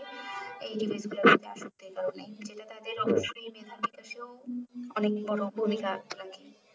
এই device গুলো আসক্ত এই কারণে তাদের অগ্রসনে মেধা বিকাশে ও অনেক বড়ো ভূমিকা আছে